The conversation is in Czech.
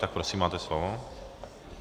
Tak prosím, máte slovo.